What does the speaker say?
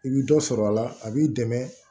I bi dɔ sɔrɔ a la a b'i dɛmɛ